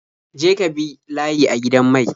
Je ka bi layi a gidan mai.